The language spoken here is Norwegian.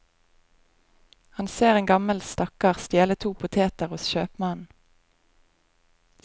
Han ser en gammel stakkar stjele to poteter hos kjøpmannen.